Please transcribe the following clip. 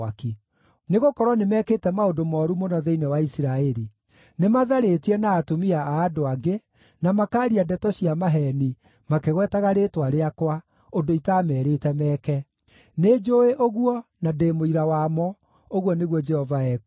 Nĩgũkorwo nĩmekĩte maũndũ mooru mũno thĩinĩ wa Isiraeli; nĩ matharĩtie na atumia a andũ angĩ, na makaaria ndeto cia maheeni, makĩgwetaga rĩĩtwa rĩakwa, ũndũ itaameerĩte meke. Nĩnjũũĩ ũguo nĩguo, na ndĩ mũira wamo,” ũguo nĩguo Jehova ekuuga.